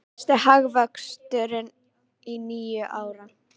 Mesti hagvöxtur í níu ár